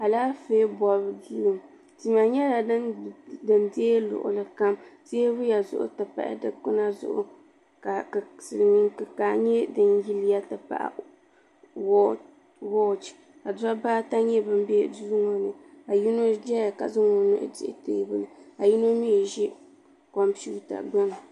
alaanƒɛ bɔbu doo tihi nyɛla din dɛi luɣili kam tɛbuya zuɣ n ti pahi sɛkpɛna zuɣ ka silimini kikaa ti pahi wɔchi ka dibaata nyɛ ban bɛ duŋɔ ni ka yino ʒɛya ka zaŋ o no sɛhitɛbuli ka yino mi ʒɛ comipɛwuta gbani